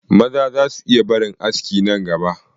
Maza za su iya barin aski nan gaba